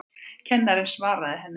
Kennarinn svaraði henni ekki.